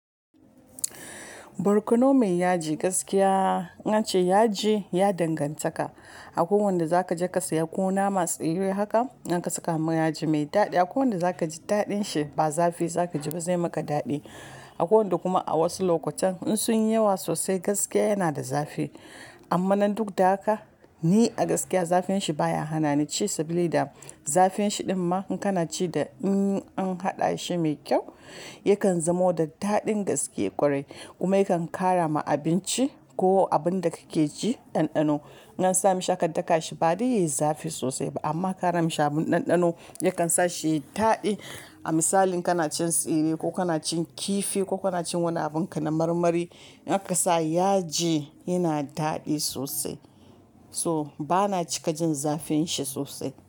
Borkono mai yaji gaskiya in an ce yaji ya danganta ka. Ako wanda za ka je ka siya ko nama tsire haka in ka saka ma yaji mai daɗi. Akwai wanda za ka ji daɗin shi ba zafi za ka ji ba zai maka daɗi. Akwai wanda kuma a wasu lokutan in sun yi yawa sosai gaskiya yana da zafi. Amma nan duk da haka ni a gaskiya zafin shi baya hana ni ci sablida da zafin shi ɗin ma in kana ci da in an haɗa shi mai kyau yakan zamo da daɗin gaske ƙwarai. Kuma yakan ƙara ma abinci ko abun da kake ci ɗanɗano. In an sami shi aka daka shi ba dai yezafi sosai ba amma karami shi abun ɗanɗano yakan sa shi yed-daɗi. A misali in kana cin tsire ko kana cin kifi ko kana cin wani abun kana marmari in aka sa yaji yana daɗi sosai. So bana cika jin zafin shi sosai.